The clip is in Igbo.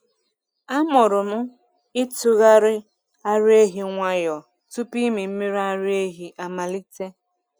Amụrụ m ịtụgharị ara ehi nwayọọ tupu ịmị mmiri ara ehi amalite.